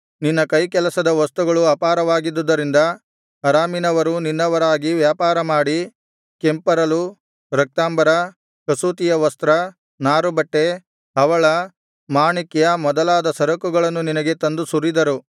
ನಿನ್ನ ಕೈಕೆಲಸದ ವಸ್ತುಗಳು ಅಪಾರವಾಗಿದ್ದುದರಿಂದ ಅರಾಮಿನವರೂ ನಿನ್ನವರಾಗಿ ವ್ಯಾಪಾರಮಾಡಿ ಕೆಂಪರಲು ರಕ್ತಾಂಬರ ಕಸೂತಿಯ ವಸ್ತ್ರ ನಾರುಬಟ್ಟೆ ಹವಳ ಮಾಣಿಕ್ಯ ಮೊದಲಾದ ಸರಕುಗಳನ್ನು ನಿನಗೆ ತಂದು ಸುರಿದರು